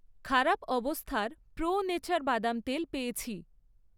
খারাপ অবস্থার pro nature বাদাম তেল পেয়েছি।